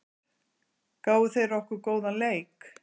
Gáfu þeir okkur góðan leik?